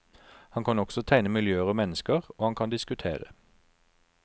Han kan også tegne miljøer og mennesker, og han kan diskutere.